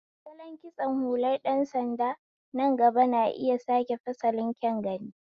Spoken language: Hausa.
Salon kitson hular ɗan sanda nan gaba na iya sake fasalin kyan gani.